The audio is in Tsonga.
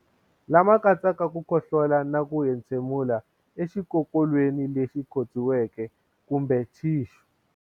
Lama katsaka ku khohlola na ku entshemulela exikokolweni lexi khotsiweke kumbe thixu.